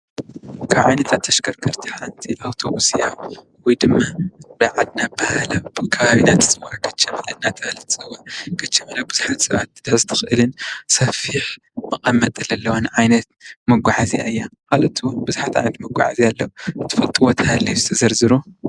ካብ ዓይነታት ተሽከረከርቲ ሓንቲ አውቶብስ እያ ወይድማ ብናይ ዓድና ኣበሃህላ ብናይ ዓድና ኣፀዋውዓ ካቻበለ እናተበሃለት ትፅዋዕ። ካቻበለ ብዙሓት ሰባት ክትሕዝ ትክእልን ሰፊሕ መቐመጢ ዘለዋን ዓይነት መጓዓዝያ እያ ። ካልኦት ብዙሓት ዓይነት መጓዓዓዝያ ኣሎ እስቲ ዘረዝሩ?